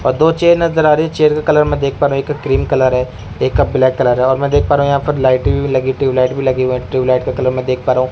अ दो चेयर नजर आ रही चेयर का कलर मैं देख पा रहा हूं एक क्रीम कलर है एक का ब्लैक कलर है और मैं देख पा रहा हूं यहां पर लाइटें भी लगी ट्यूबलाइट भी लगी हुई है ट्यूबलाइट का कलर मै देख पा रहा हूं।